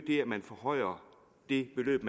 det at man forhøjer det beløb